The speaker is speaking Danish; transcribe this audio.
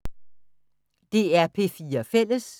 DR P4 Fælles